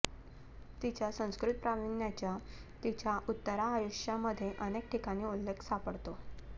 तिच्या संस्कृत प्रावीण्याचा तिच्या उत्तरायुष्यामध्ये अनेक ठिकाणी उल्लेख सापडतो